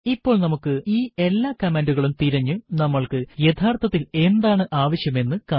ഇപ്പോൾ നമുക്ക് ഈ എല്ലാ കമാൻഡുകളും തിരഞ്ഞു നമ്മൾക്ക് യഥാർത്ഥത്തിൽ എന്താണ് ആവശ്യം എന്ന് കാണാം